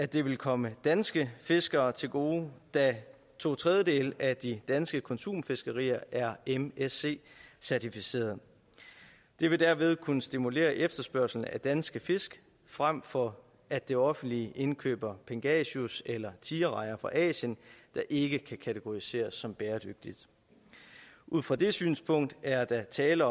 det vil komme danske fiskere til gode da to tredjedele af det danske konsumfiskeri er msc certificeret det vil derved kunne stimulere efterspørgslen af danske fisk frem for at det offentlige indkøber pangasius eller tigerrejer fra asien der ikke kan kategoriseres som bæredygtige ud fra det synspunkt er der tale